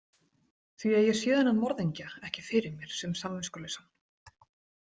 Því að ég sé þennan morðingja ekki fyrir mér sem samviskulausan.